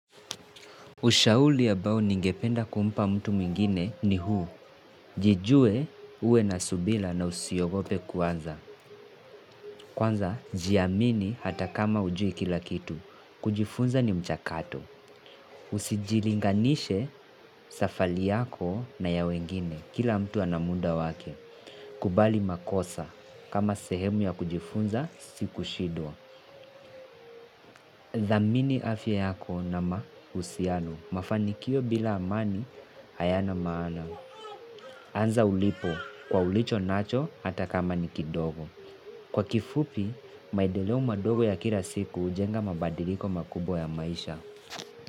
Ushauri ambao ningependa kumpa mtu mwingine ni huu. Jijue, uwe na subira na usiogope kuanza. Kwanza, jiamini hata kama hujui kila kitu. Kujifunza ni mchakato. Usijilinganishe safari yako na ya wengine. Kila mtu ana muda wake. Kubali makosa kama sehemu ya kujifunza, si kushidwa. Thamini afya yako na mahusiano, mafanikio bila amani hayana maana, anza ulipo kwa ulichonacho hata kama ni kidogo. Kwa kifupi, maendeleo madogo ya kila siku hujenga mabadiliko makubwa ya maisha.